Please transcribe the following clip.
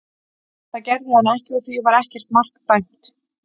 Það gerði hann ekki og því var ekkert mark dæmt.